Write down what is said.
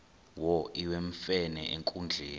wo iwemfene enkundleni